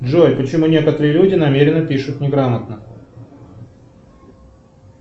джой почему некоторые люди намеренно пишут неграмотно